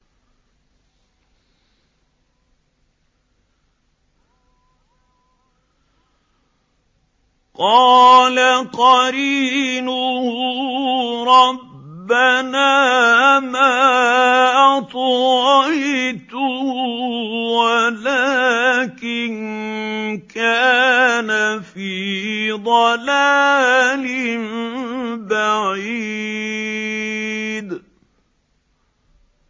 ۞ قَالَ قَرِينُهُ رَبَّنَا مَا أَطْغَيْتُهُ وَلَٰكِن كَانَ فِي ضَلَالٍ بَعِيدٍ